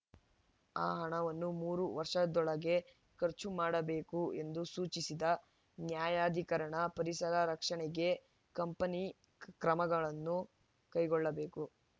ಆ ಹಣವನ್ನು ಮೂರು ವರ್ಷದೊಳಗೆ ಖರ್ಚು ಮಾಡಬೇಕು ಎಂದು ಸೂಚಿಸಿದ ನ್ಯಾಯಾಧಿಕರಣ ಪರಿಸರ ರಕ್ಷಣೆಗೆ ಕಂಪನಿ ಕ್ರಮಗಳನ್ನು ಕೈಗೊಳ್ಳಬೇಕು